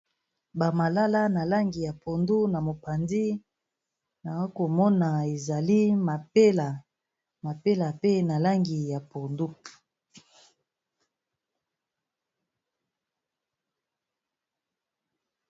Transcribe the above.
Ba malala na langi ya pondu na mopanzi nako mona ezali mapela, mapela pe na langi ya pondu.